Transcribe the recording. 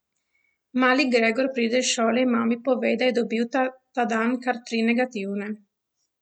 Mali Gregor pride iz šole in mami pove, da je dobil ta dan kar tri negativne.